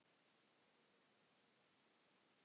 Sjálfur hefur hann neitað því.